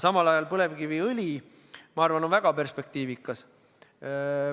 Samal ajal põlevkiviõli, ma arvan, on väga perspektiivikas.